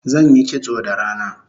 Zanyi kitso da rana